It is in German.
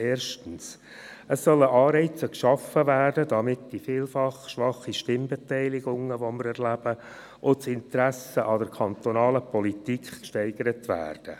– Erstens: Es sollen Anreize geschaffen werden, damit die vielfach schwachen Stimmbeteiligungen, die wir erleben, und das Interesse an der kantonalen Politik gesteigert werden.